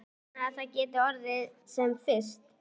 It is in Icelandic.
Ég vona að það geti orðið sem fyrst.